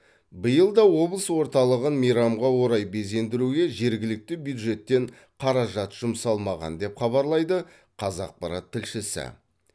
биыл да облыс орталығын мейрамға орай безендіруге жергілікті бюджеттен қаражат жұмсалмаған деп хабарлайды қазақпарат тілшісі